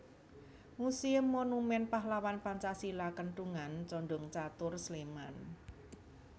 Muséum Monumen Pahlawan Pancasila Kentungan Condongcatur Sleman